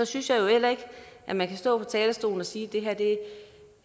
synes heller ikke at man kan stå på talerstolen og sige